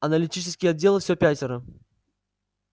аналитический отдел все пятеро